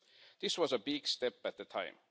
This was a big step at the time.